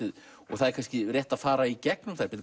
það er kannski rétt að fara í gegnum þær